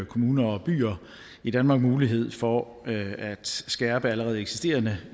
kommuner og byer i danmark mulighed for at skærpe allerede eksisterende